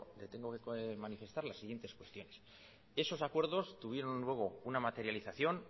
le tengo que manifestar las siguientes cuestiones esos acuerdos tuvieron luego una materialización